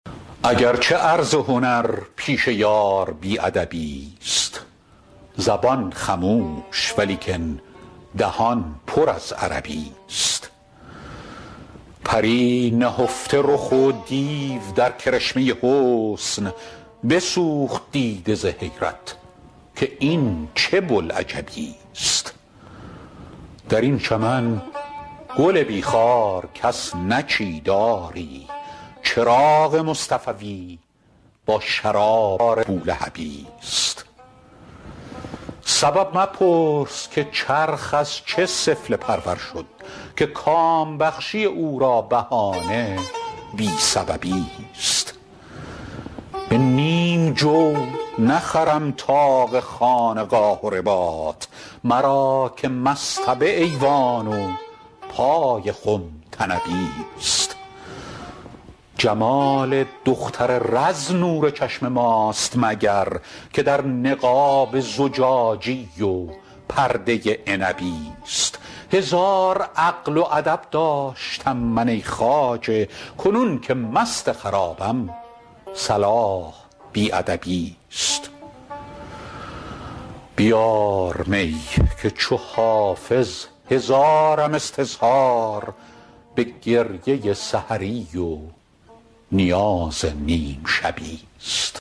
اگر چه عرض هنر پیش یار بی ادبی ست زبان خموش ولیکن دهان پر از عربی ست پری نهفته رخ و دیو در کرشمه حسن بسوخت دیده ز حیرت که این چه بوالعجبی ست در این چمن گل بی خار کس نچید آری چراغ مصطفوی با شرار بولهبی ست سبب مپرس که چرخ از چه سفله پرور شد که کام بخشی او را بهانه بی سببی ست به نیم جو نخرم طاق خانقاه و رباط مرا که مصطبه ایوان و پای خم طنبی ست جمال دختر رز نور چشم ماست مگر که در نقاب زجاجی و پرده عنبی ست هزار عقل و ادب داشتم من ای خواجه کنون که مست خرابم صلاح بی ادبی ست بیار می که چو حافظ هزارم استظهار به گریه سحری و نیاز نیم شبی ست